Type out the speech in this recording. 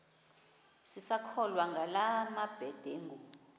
sisakholwa ngala mabedengu